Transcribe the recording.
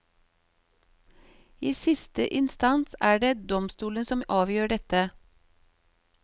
I siste instans er det domstolene som avgjør dette.